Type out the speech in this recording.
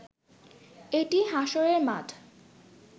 এটি হাশরের মাঠ